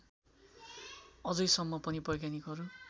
अझैसम्म पनि वैज्ञानिकहरू